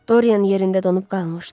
Dorian yerində donub qalmışdı.